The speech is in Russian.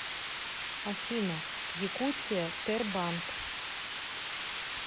афина якутия тербанк